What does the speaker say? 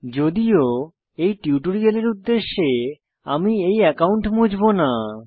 যদিও এই টিউটোরিয়ালের উদ্দেশ্যে এই অ্যাকাউন্ট মুছবো না